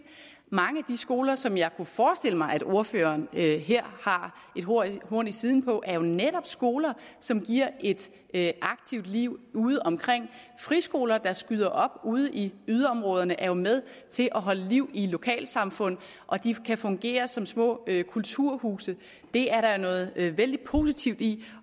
mange af de skoler som jeg kunne forestille mig at ordføreren her har et horn horn i siden på er jo netop skoler som giver et et aktivt liv udeomkring friskoler der skyder op ude i yderområderne er jo med til at holde liv i lokalsamfund og de kan fungere som små kulturhuse det er der noget vældig positivt i